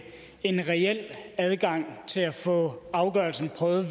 en reel adgang til at få afgørelsen prøvet